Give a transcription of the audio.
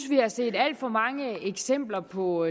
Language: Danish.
vi har set alt for mange eksempler på